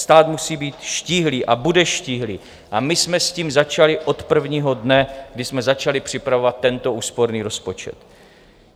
Stát musí být štíhlý a bude štíhlý a my jsme s tím začali od prvního dne, kdy jsme začali připravovat tento úsporný rozpočet.